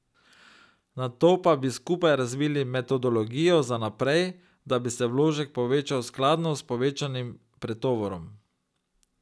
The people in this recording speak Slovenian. Nato pa bi skupaj razvili metodologijo za naprej, da bi se vložek povečal skladno s povečanim pretovorom.